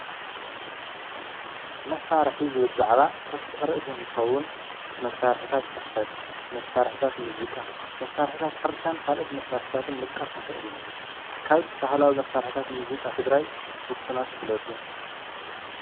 መሳርሒ ዝብል ዛዕባ ሰፊሕ ርእሲ እንትከዉም መሳርሕታት ፅሕፈት ፣መሳርሕታት ሙዚቃ ፣መሳርሕታት ሕርሻን ካልኦት መሳርሕታትን ምጥቃስ ንክእል ኢና፤።ካብ ባህላዊ መሳርሕታት ሙዚቃ ትግራይ ዉስናት ግለፁ።